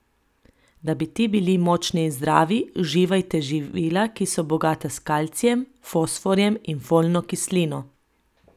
Da bi ti bili močni in zdravi, uživajte živila, ki so bogata s kalcijem, fosforjem in folno kislino.